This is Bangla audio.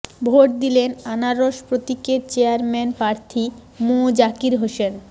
ভোট দিলেন আনারস প্রতীকের চেয়ারম্যান প্রার্থী মোঃ জাকির হোসেন